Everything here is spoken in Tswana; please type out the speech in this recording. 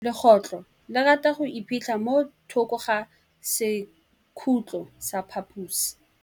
Legôtlô le rata go iphitlha mo thokô ga sekhutlo sa phaposi.